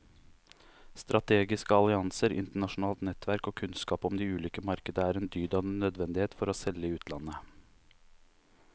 Strategiske allianser, internasjonalt nettverk og kunnskap om de ulike markeder er en dyd av nødvendighet for å selge i utlandet.